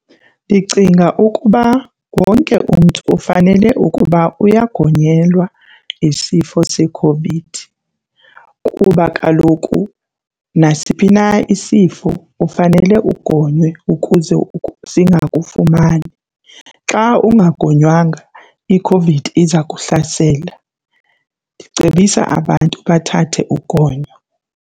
Ndicinga ukuba wonke umntu ufanele ukuba uyagonyelwa isifo seCOVID ukuba kaloku nasiphi na isifo ufanele ugonywe futhi ukuze singakufumani. Xa ungagonywanga, iCOVID iza kuhlasela. Ndicebisa abantu bathathe ugonyo.